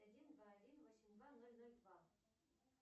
один два один восемь два ноль ноль два